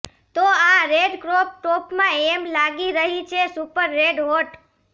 તો આ red crop ટોપમાં એમી લાગી રહી છે સુપર રેડ હોટ